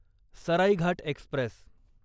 Saraighat Express